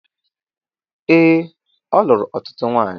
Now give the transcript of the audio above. Ee, o lụrụ ọtụtụ nwanyị